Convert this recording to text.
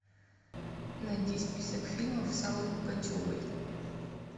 найди список фильмов с аллой пугачевой